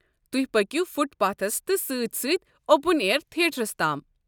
تۄہہِ پكِو footpaths تہِ سٕتۍ سٕتۍ اوپن اییر تھیٹرس تام۔